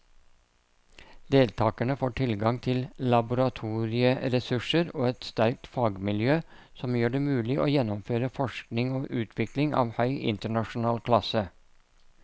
Deltakerne får tilgang til laboratorieressurser og et sterkt fagmiljø som gjør det mulig å gjennomføre forskning og utvikling av høy internasjonal klasse.